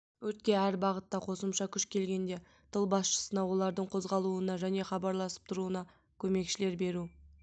өртке әр бағытта қосымша күш келгенде тыл басшысына олардың қозғалуына және хабарласып тұруына көмекшілер беру